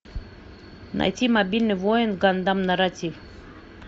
найти мобильный воин гандам нарратив